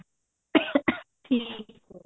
ਠੀਕ ਆ